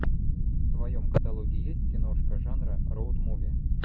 в твоем каталоге есть киношка жанра роуд муви